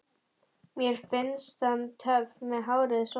Mér finnst hann töff með hárið svona!